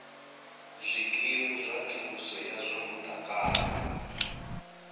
zwikimu zwa thuso ya zwa mutakalo